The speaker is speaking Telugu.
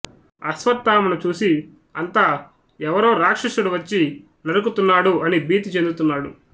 అశ్వత్థామను చూసి అంతా ఎవరో రాక్షసుడు వచ్చి నరుకుతున్నాడు అని భీతి చెందుతున్నాడు